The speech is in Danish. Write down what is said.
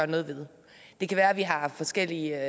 noget ved det kan være at vi har forskellige